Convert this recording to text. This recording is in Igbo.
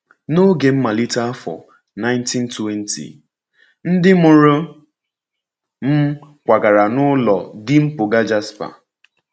N’oge mmalite afọ 1920, ndị mụrụ m kwagara n’ụlọ dị mpụga Jasper.